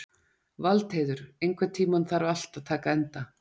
Valdheiður, einhvern tímann þarf allt að taka enda.